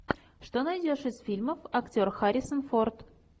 что найдешь из фильмов актер харрисон форд